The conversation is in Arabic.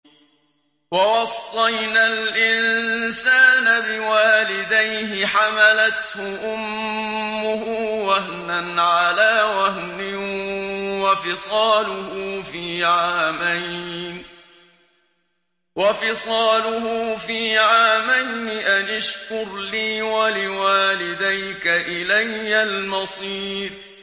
وَوَصَّيْنَا الْإِنسَانَ بِوَالِدَيْهِ حَمَلَتْهُ أُمُّهُ وَهْنًا عَلَىٰ وَهْنٍ وَفِصَالُهُ فِي عَامَيْنِ أَنِ اشْكُرْ لِي وَلِوَالِدَيْكَ إِلَيَّ الْمَصِيرُ